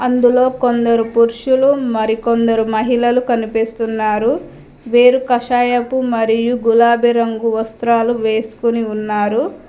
అందులో కొందరు పురుషులు మరికొందరు మహిళలు కనిపిస్తున్నారు వేరు కషాయపు మరియు గులాబి రంగు వస్త్రాలు వేసుకుని ఉన్నారు.